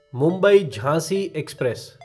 मुंबई झाँसी एक्सप्रेस